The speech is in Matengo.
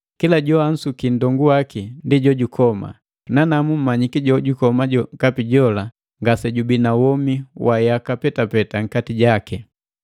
Kila joansuki nndongu waki ndi jojukoma; nanamu mmanyiki jojukoma jokapi jola ngasejubii na womi wa yaka petapeta nkati jaki.